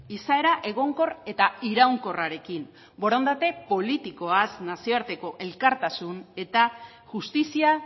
izaera egonkor eta iraunkorrarekin borondate politikoaz nazioarteko elkartasun eta justizia